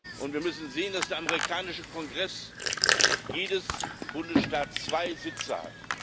Und wir müssen sehen, dass im amerikanischen Kongress jeder Bundesstaat zwei Sitze hat.